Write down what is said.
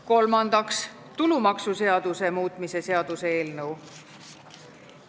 Kolmandaks, tulumaksuseaduse muutmise seaduse eelnõu.